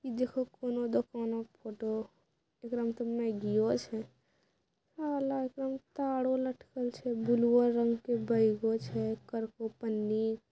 इ देखो कोनों दुकानों के फोटो एकरा में तो मैगियों छे साला ओकरा में तारों लटकल छे बुलुओ रंग के बैगो छे पन्नी।